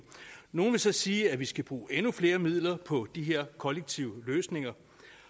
nogle vil så sige at vi skal bruge endnu flere midler på de her kollektive løsninger